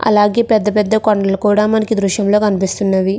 అలాగే పెద్ద పెద్ద కొండలు కూడా మనకి దృశ్యం కనిపిస్తూ ఉన్నవి.